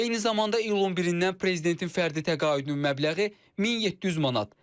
Eyni zamanda iyulun 1-dən prezidentin fərdi təqaüdünün məbləği 1700 manat.